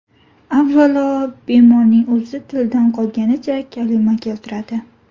Avvalo, bemorning o‘zi tildan qolganicha kalima keltiradi.